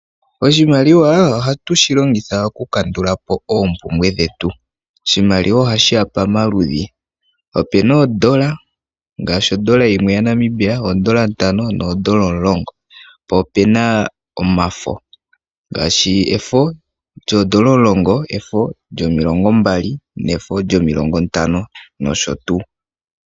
Oshimaliwa ohatu shilongitha okukandulapo oompumbwe dhetu. Oshimaliwa ohashi ya pamaludhi, opuna oondola ngaashi ondola yimwe yaNamibia, oondola ntano noondola omulongo. Po opuma omafo ngaashi efo lyondola 10, efo lyo20, efo lyo50 nosho tuu.